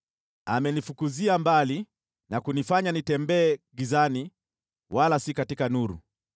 Amenifukuzia mbali na kunifanya nitembee gizani wala si katika nuru;